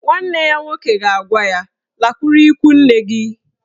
Nwanne ya nwoke ga-agwa ya "Lakwuru ikwu nne gị!